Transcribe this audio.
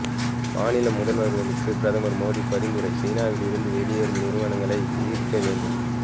மாநில முதல்வர்களுக்கு பிரதமர் மோடி பரிந்துரை சீனாவில் இருந்து வெளியேறும் நிறுவனங்களை ஈர்க்க வேண்டும்